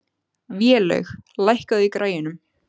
Vélaug, lækkaðu í græjunum.